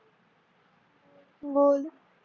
बोल